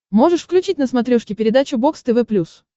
можешь включить на смотрешке передачу бокс тв плюс